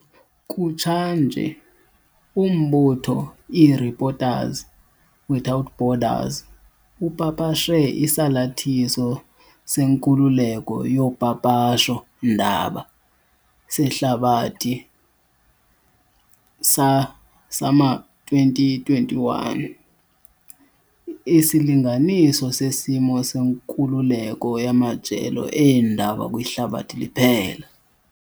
Kutshanje, umbutho i-Reporters without Borders upapashe Isalathiso seNkululeko yoPapasho ndaba seHlabathi sama-2021, isilinganiso sesimo senkululeko yamajelo eendaba kwihlabathi liphela.